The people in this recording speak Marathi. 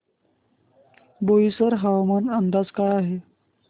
बोईसर हवामान अंदाज काय आहे